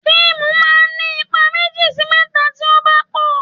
Fíìmù máa ń ní ipa méjì sí mẹ́ta tí ó bá pò.